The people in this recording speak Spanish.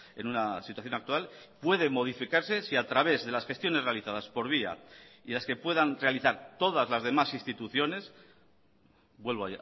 en una situación actual puede modificarse si a través de las gestiones realizadas por vía y las que puedan realizar todas las demás instituciones vuelvo